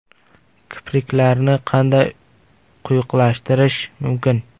Kipriklarni qanday quyuqlashtirish mumkin?.